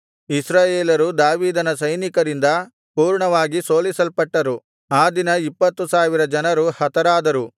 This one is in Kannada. ಇಸ್ರಾಯೇಲರು ದಾವೀದನ ಸೈನಿಕರಿಂದ ಪೂರ್ಣವಾಗಿ ಸೋಲಿಸಲ್ಪಟ್ಟರು ಆ ದಿನ ಇಪ್ಪತ್ತು ಸಾವಿರ ಜನರು ಹತರಾದರು